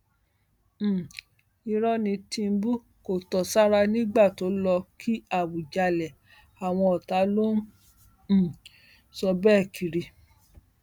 um irọ ní tìǹbù kó tó sára nígbà tó lọọ kí àwùjalè àwọn ọtá ló um ń sọ bẹẹ kiri